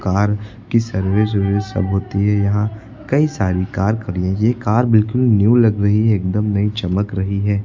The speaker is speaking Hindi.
कार की सर्विस वर्विस सब होती है। यहां कई सारी कार खड़ी हैं। ये कार बिल्कुल न्यू लग रही है। एकदम नई चमक रही है।